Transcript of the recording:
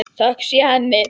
Þökk sé henni.